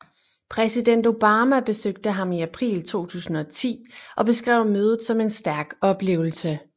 Præsident Obama besøgte ham i april 2010 og beskrev mødet som en stærk oplevelse